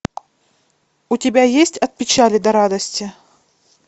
у тебя есть от печали до радости